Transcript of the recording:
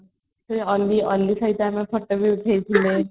Ali ali ଭାଇ ସହ photo ବି ଉଠେଇ ଥିଲେ |